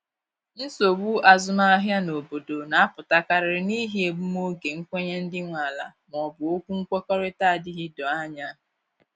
Nsogbu azụmahịa n’obodo na apụta karịrị n'ihi egbum oge nkwenye ndị nwe ala ma ọ bụ okwu nkwekọrịta adịghị doo anya